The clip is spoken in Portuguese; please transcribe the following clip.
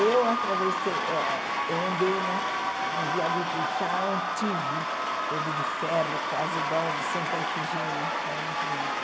Eu atravessei ah eu andei né no viaduto do chá antigo, todo de ferro, quase igual ao do Santa Efigênia, que era muito bonito.